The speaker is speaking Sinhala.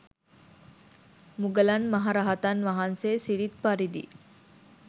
මුගලන් මහ රහතන් වහන්සේ සිරිත් පරිදි